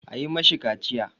A yi ma shi kaciya!